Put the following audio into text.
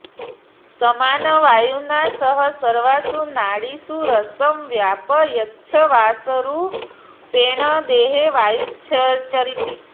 समानवायुना सह सर्वासु नाडीषु रसं व्यापयञ्छ्वासरूपेण देहे वायुश्चरति